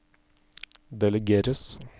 delegeres